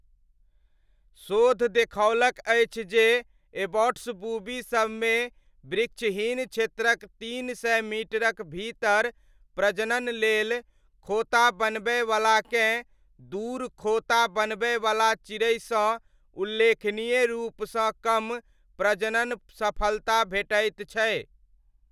शोध देखौलक अछि जे एबॉट्स बूबी सबमे वृक्षहीन क्षेत्रक तीन सय मीटरक भीतर प्रजनन लेल खोता बनबयवलाकेँ दूर खोता बनबयवला चिड़ैसँ उल्लेखनीय रूपसँ कम प्रजनन सफलता भेटैत छै।